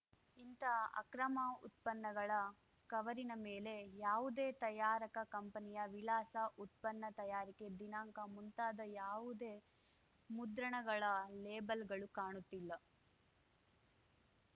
ಇಂಥ ಅಕ್ರಮ ಉತ್ಪನ್ನಗಳ ಕವರಿನ ಮೇಲೆ ಯಾವುದೇ ತಯಾರಕಾ ಕಂಪನಿಯ ವಿಳಾಸ ಉತ್ಪನ್ನ ತಯಾರಿಕೆ ದಿನಾಂಕ ಮುಂತಾದ ಯಾವುದೇ ಮುದ್ರಣಗಳ ಲೇಬಲ್‌ಗಳು ಕಾಣುತ್ತಿಲ್ಲ